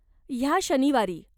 ह्या शनिवारी?